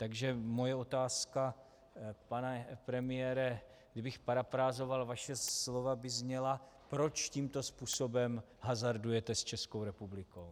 Takže moje otázka, pane premiére, kdybych parafrázoval vaše slova, by zněla: Proč tímto způsobem hazardujete s Českou republikou?